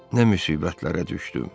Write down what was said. Nə müsibətlərə düşdüm!